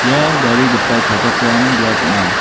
ia gari gital palchakram biap ong·a.